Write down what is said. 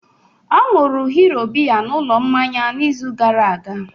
Ọ ṅụụrụ Hero biya n'ụlọ mmanya n'izu gara aga